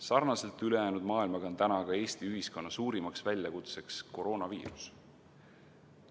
Sarnaselt ülejäänud maailmaga on täna ka Eesti ühiskonna suurim väljakutse koroonaviirus.